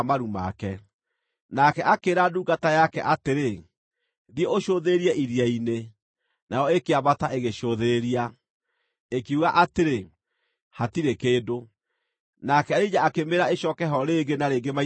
Nake akĩĩra ndungata yake atĩrĩ, “Thiĩ ũcũthĩrĩrie iria-inĩ,” nayo ĩkĩambata ĩgĩcũthĩrĩria. Ĩkiuga atĩrĩ, “Hatirĩ kĩndũ.” Nake Elija akĩmĩĩra ĩcooke ho rĩngĩ na rĩngĩ maita mũgwanja.